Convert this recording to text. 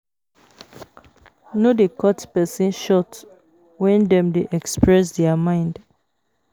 No dey cut person short when dem dey express their mind